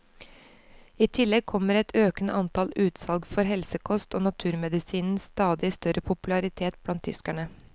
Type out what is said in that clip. I tillegg kommer et økende antall utsalg for helsekost og naturmedisinens stadig større popularitet blant tyskerne.